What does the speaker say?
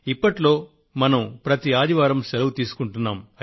ఇప్పట్లో మనం ప్రతి ఆదివారం సెలవు తీసుకొంటున్నాము